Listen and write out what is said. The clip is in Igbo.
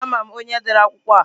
Ama m onye dere akwụkwọ a.